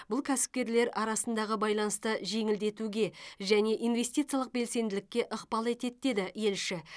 бұл кәсіпкерлер арасындағы байланысты жеңілдетуге және инвестициялық белсенділікке ықпал етеді деді елші